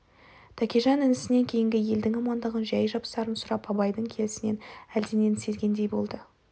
тәкежан інісінен кейінгі елдің амандығын жай-жапсарын сұрап абайдың келісінен әлденені сезгендей болды